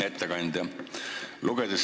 Ettekandja!